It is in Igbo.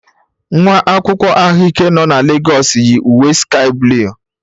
Nwa akwụkwọ ahụike nọ na Legọs yi uwe sky blue.